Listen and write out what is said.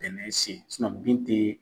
Tɛmɛ sen bin tɛ